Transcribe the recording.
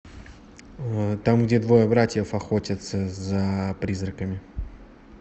там где двое братьев охотятся за призраками